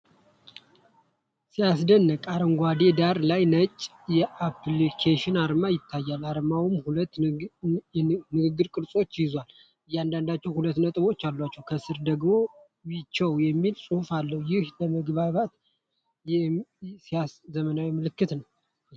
ሲያስደንቅ! አረንጓዴ ዳራ ላይ ነጭ የአፕሊኬሽን አርማ ይታያል። አርማው ሁለት የንግግር ቅርጾችን ይዟል፤ እያንዳንዳቸው ሁለት ነጥቦች አሏቸው። ከስር ደግሞ 'ዊቻት' የሚል ጽሑፍ አለ። ይህ ለመግባባት የሚያገለግል ሲያሳውቅ! ዘመናዊ ምልክት!